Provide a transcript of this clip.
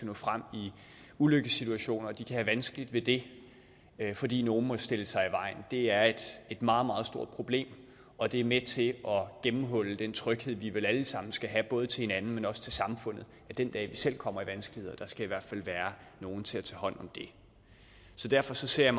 nå frem i ulykkessituationer at de kan have vanskeligt ved det fordi nogle stiller sig i vejen det er et meget meget stort problem og det er med til at gennemhulle den tryghed vi vel alle sammen skal have både til hinanden men også til samfundet den dag vi selv kommer i vanskeligheder der skal i hvert fald være nogle til at tage hånd om det så derfor ser